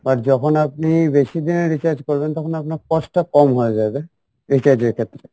আর যখন আপনি বেশি দিনের recharge করবেন তখন আপনার cost টা কম হয়ে যাবে recharge এর ক্ষেত্রে